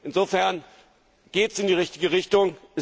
Insofern geht es in die richtige Richtung.